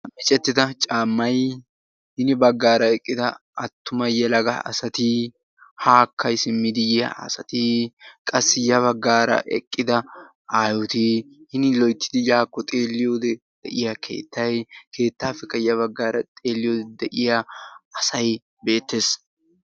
Micettida caamay hini baggara eqqida attuma yeelaga asaati, haka simmidi yiya asaati, qassi ya baggara eqqida aayoti, hin loyttidi yako xeeliyode de'iya keettay, keettapeka ya baggara xeeliyode de'iya asaay beetees.